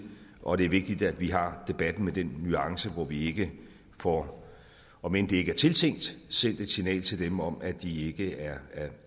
og det er vigtigt at vi har debatten med den nuance så vi ikke får om end det ikke er tiltænkt sendt et signal til dem om at de ikke